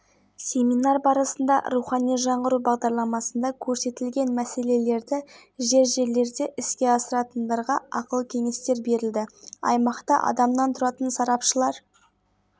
республиканың кей жерлерінде желдің күшеюі тұман көктайғақ күтіледі қарағанды облысының басым бөлігінде түнде желдің күшеюі түнде